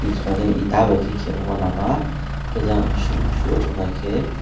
himanui eta bai khe khemo oh lama khe jang sungo naikhe.